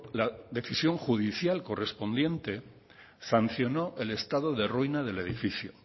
la decisión judicial correspondiente sancionó el estado de ruina del edificio